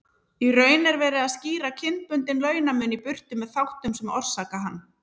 Miðausturlöndin eru eins og púðurtunna.